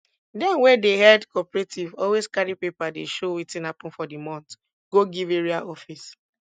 dem wey dey head cooperative always carry paper wey show wetin hapun for di month go give area office